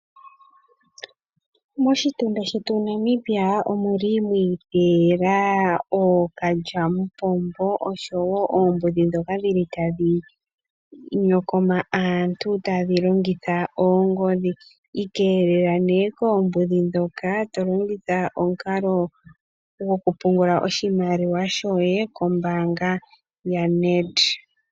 Moshitunda shetu Namibia omwi iteyela ookalyamupombo oshowo oombudhi ndhoka dhi li tadhi nyokoma aantu tadhi longitha oongodhi. Ikeelela nee koombudhi ndhoka to longitha omukalo gokupungula oshimaliwa shoye kombaanga yaNedBank.